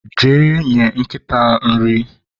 jee nye nkịta nri!